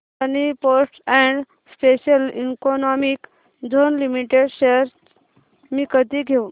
Adani ports and special economic zone limited shares मी कधी घेऊ